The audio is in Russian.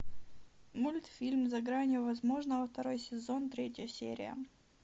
мультфильм за гранью возможного второй сезон третья серия